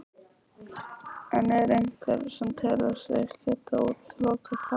En er einhver sem telur sig geta útilokað það?